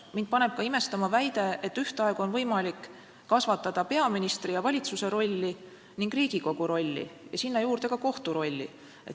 Mind paneb ka imestama väide, nagu ühtaegu oleks võimalik kasvatada peaministri ja valitsuse rolli ning Riigikogu rolli ja sinna juurde ka kohtu rolli.